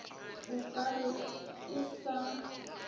o ka re e sa